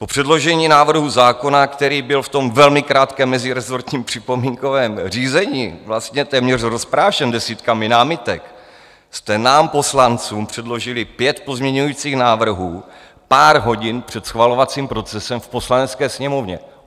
Po předložení návrhu zákona, který byl v tom velmi krátkém mezirezortním připomínkovém řízení vlastně téměř rozprášen desítkami námitek, jste nám poslancům předložili pět pozměňovacích návrhů pár hodin před schvalovacím procesem v Poslanecké sněmovně.